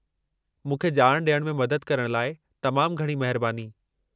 मूंखे ॼाण ॾियण में मदद करण लाइ तमामु घणी महिरबानी।